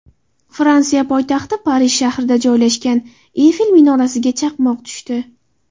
Fransiya poytaxti Parij shahrida joylashgan Eyfel minorasiga chaqmoq tushdi.